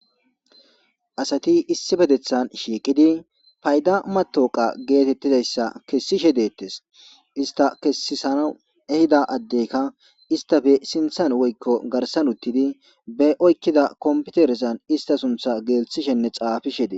Asati issi bedethan shiiqidi payda matoqa geetettidayssa kessishe deettes ista kessisana ehida addeyka istafe sinthan woykko garsan uttidi be oykkida kompiteresan ista suntha geelthishenne xaafishe de